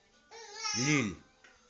лилль